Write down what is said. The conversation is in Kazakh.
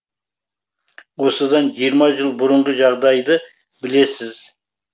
осыдан жиырма жыл бұрынғы жағдайды білесіз